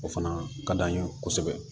O fana ka d'an ye kosɛbɛ